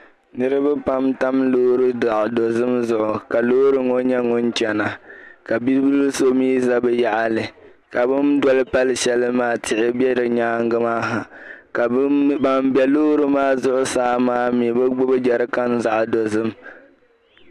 Niraba pam n tam loori zaɣ' dozim zuɣu ka loori ŋo nyɛ ŋun chana ka bibil so mii za bi yaɣili ka bin doli pali shʋli maa tihi bɛ di nyaanga maa ha ka loori maa zuɣusaa maa ha bi gbubi jɛrikan zaɣ' dozim